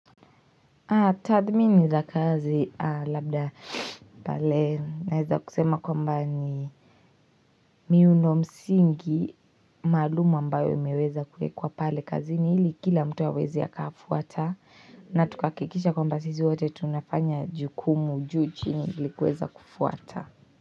Tathmini za kazi labda pale na eza kusema kwamba ni miuno msingi malumu ambayo imeweza kuekwa pale kazi ni hili kila mtu a weze a kafuata na tukahakikisha kwamba sisi wote tunafanya jukumu juu chi ni likuweza kufuata.